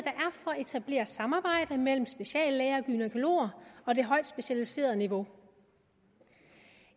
etablere samarbejde mellem speciallæger og gynækologer og det højt specialiserede niveau